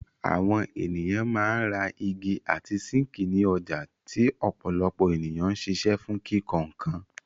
Àwọn ènìyàn máa ń ra igi àti síńkì ní ọjà tí ọ̀pọ̀lọpọ̀ ènìyàn ń ṣiṣẹ́ fún kíkọ́ nkan.